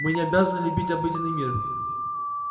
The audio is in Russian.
мы не обязаны любить обыденный мир